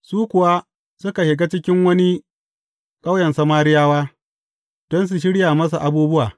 Su kuwa, suka shiga cikin wani ƙauyen Samariyawa, don su shirya masa abubuwa.